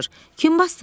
Kim basdıracaq?